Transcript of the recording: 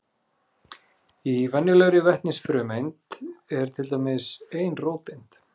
Í venjulegri vetnisfrumeind er til dæmis ein róteind.